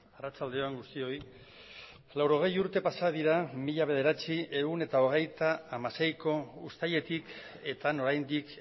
arratsalde on guztioi laurogei urte pasa dira mila bederatziehun eta hogeita hamaseiko uztailetik eta oraindik